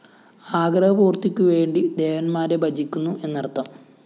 ആഗ്രഹപൂർത്തിക്കുവേണ്ടി ദേവന്മാരെ ഭജിക്കുന്നു എന്നർത്ഥം